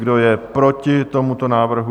Kdo je proti tomuto návrhu?